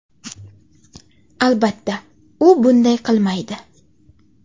Albatta, u bunday qilmaydi.